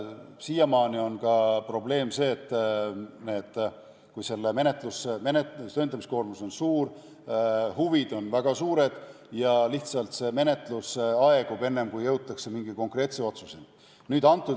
Siiamaani on probleem ka see, et kui selle menetlemise tõendamiskoormus on suur, huvi on väga suur, siis see menetlus lihtsalt aegub, enne kui jõutakse mingi konkreetse otsuseni.